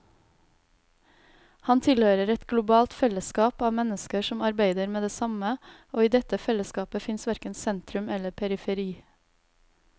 Han tilhører et globalt fellesskap av mennesker som arbeider med det samme, og i dette fellesskapet fins verken sentrum eller periferi.